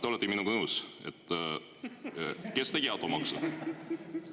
Te olete minuga nõus, et kes tegi automaksu?